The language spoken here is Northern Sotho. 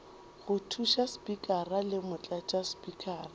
go thuša spikara le motlatšaspikara